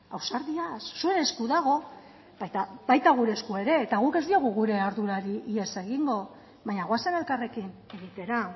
ausardiaz zuen esku dago eta baita gure esku ere guk ez diogu gure ardurari ihes egingo baina goazen elkarrekin egitera